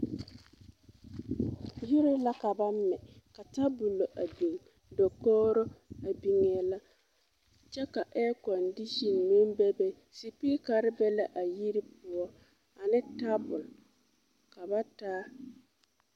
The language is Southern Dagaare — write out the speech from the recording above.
Yiri la ka ba mɛ ka tabulɔ a biŋ dakoɡiro a biŋee la kyɛ ka ɛɛkɔndiisen meŋ bebe sepeekare be la a yiri poɔ ane tabul ka ba taa.